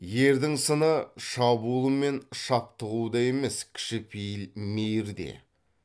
ердің сыны шабуыл мен шаптығуда емес кішіпейіл мейірде